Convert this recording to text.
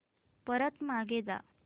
परत मागे जा